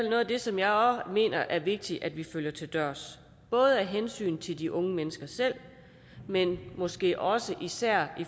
noget af det som jeg mener er vigtigt at følge til dørs både af hensyn til de unge mennesker selv men måske også især